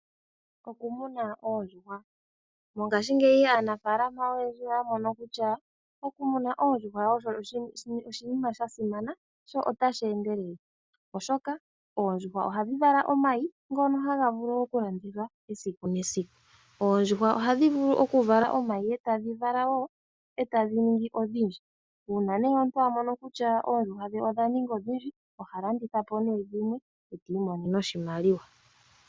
Okutekula oondjuhwa. Mongashingeyi aanafaalama oyendji oyamona kutya okutekula oondjuhwa oshinima sha simana, sho otashi endelele oshoka, oondjuhwa ohadhi vala omayi, ngono haga vulu okulandithwa esiku nesiku. Oondjuhwa ohadhi vulu okuvala omayi etadhi tendula wo uuyuhwena, etadhi indjipala. Uuna omuntu amona kutya oondjuhwa odha indjipala, oha landithapo nduno dhimwe etamono mo oshimaliwa.